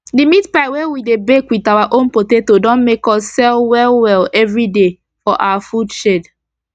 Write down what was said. d meat pie wey we dey bake with our own potato don make us sell well well everi day for our food shed